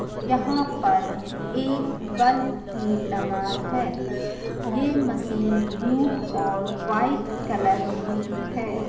यहाँ पर एक बल्ब भी लगा है यह मशीन ब्लू और वाइट कलर की है।